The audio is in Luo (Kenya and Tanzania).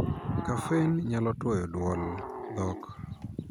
Caffeine' nyalo tuoyo duol (dhok).